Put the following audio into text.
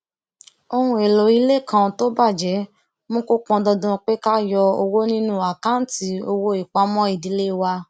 ohunèlò ilé kan tó bàjé mú kó pọn dandan pé ká yọ owó nínú àkáǹtì owó ìpamọ ìdílé wa